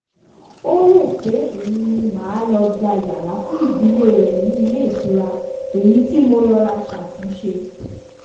ó rò pé èmi ni màá lọ gba yàrá fún ìdílé rẹ̀ ní ilé ìtura èyí tí mo rọra ṣàtúnṣe